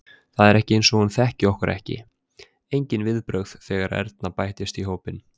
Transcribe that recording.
Það er eins og hún þekki okkur ekki, engin viðbrögð þegar Erna bætist í hópinn.